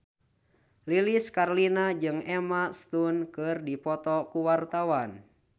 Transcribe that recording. Lilis Karlina jeung Emma Stone keur dipoto ku wartawan